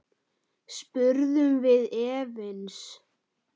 spurðum við efins.